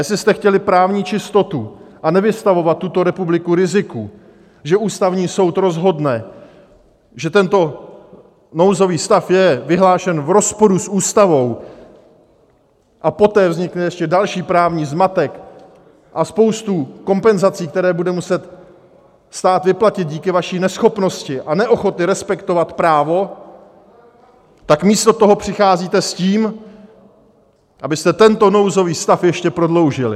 Jestli jste chtěli právní čistotu a nevystavovat tuto republiku riziku, že Ústavní soud rozhodne, že tento nouzový stav je vyhlášen v rozporu s Ústavou, a poté vznikne ještě další právní zmatek a spousta kompenzací, které bude muset stát vyplatit díky vaší neschopnosti a neochotě respektovat právo, tak místo toho přicházíte s tím, abyste tento nouzový stav ještě prodloužili.